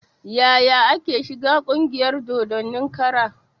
Yaya ake shiga ƙungiyar dodon kara?